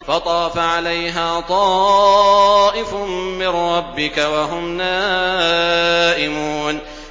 فَطَافَ عَلَيْهَا طَائِفٌ مِّن رَّبِّكَ وَهُمْ نَائِمُونَ